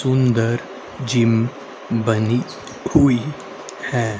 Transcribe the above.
सुंदर जिम बनी हुई है।